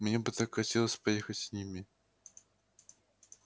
мне бы так хотелось поехать с ними